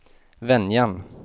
Venjan